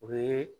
O ye